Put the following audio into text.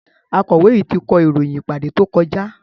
Akọ̀wé yìí ti kọ ìròyìn ìpàdé tó kọjá.